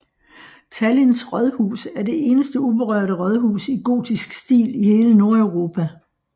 Tallinns rådhus er det eneste uberørte rådhus i gotisk stil i hele Nordeuropa